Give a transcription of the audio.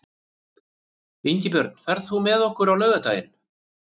Ingibjörn, ferð þú með okkur á laugardaginn?